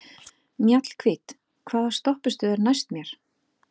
Mjallhvít, hvaða stoppistöð er næst mér?